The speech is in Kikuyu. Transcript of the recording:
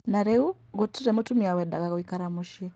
Na rĩu gũtirĩ mũtumia wendaga gũikara mũcie